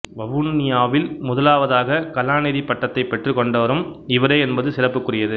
வவுனியாவில் முதலாவதாக கலாநிதிப் பட்டத்தைப் பெற்றுக்கொண்டவரும் இவரே என்பது சிறப்புக்குரியது